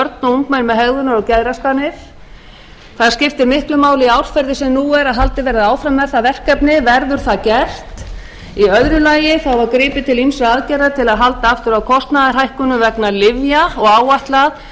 ungmenni með hegðunar og geðraskanir það skiptir miklu máli í árferði eins og nú er að haldið verði áfram með það verkefni verður það gert í öðru lagi var gripið til ýmissa aðgerða til að halda aftur af kostnaðarhækkunum vegna lyfja og áætlað